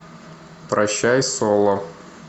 прощай соло